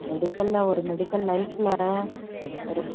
medical ல ஒரு medical life ல ஒரு